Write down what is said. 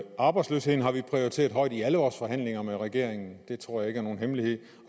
arbejdsløsheden har vi prioriteret højt i alle vores forhandlinger med regeringen det tror jeg ikke er nogen hemmelighed